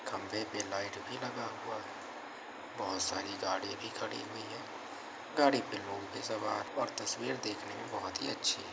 खम्बे पे लाइट भी लगा हुआ है। बहोत सारी गाड़ी भी खड़ी हुई है। गाड़ी पर लोग भी सवार और तस्वीर देखने में बहोत ही अच्छी --